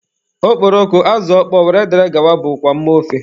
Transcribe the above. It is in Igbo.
Okporoko, azụ ọkpọọ wdg bụkwa mma ofe.